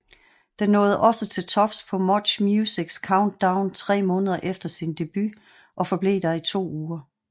Den nåede også til tops på MuchMusics Countdown tre måneder efter sin debut og forblev der i to uger